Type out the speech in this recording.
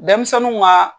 Denmisɛnninw ka